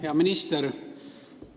Hea minister!